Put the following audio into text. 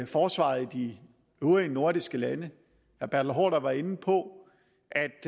forsvaret i de øvrige nordiske lande hr var inde på